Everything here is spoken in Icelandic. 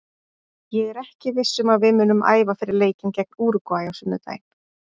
Ég er ekki viss um að við munum æfa fyrir leikinn gegn Úrúgvæ á sunnudaginn.